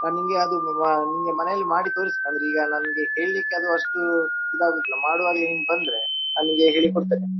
ನಾ ನಿನ್ಗೆ ಅದು ಅಹ್ ನಿನ್ಗೆ ಮನೆಯಲ್ಲಿ ಮಾಡಿ ತೋರಿಸ್ತೇನೆ ಅಂದ್ರೆ ಈಗ ನನ್ಗೆ ಹೇಳ್ಲಿಕ್ಕೆ ಅದು ಅಷ್ಟು ಇದು ಆಗುವುದಿಲ್ಲ ಮಾಡುವಾಗ್ಲೆ ನೀನ್ ಬಂದ್ರೆ ನಾನ್ ನಿನ್ಗೆ ಹೇಳಿ ಕೊಡ್ತೇನೆ.